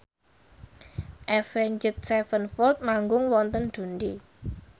Avenged Sevenfold manggung wonten Dundee